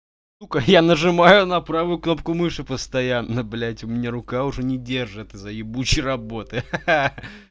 сука я нажимаю на правую кнопку мыши постоянно блядь у меня рука уже не держат из-за ебучей работы ха-ха-ха